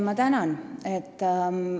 Ma tänan!